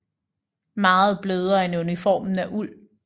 Meget blødere end uniformen af uld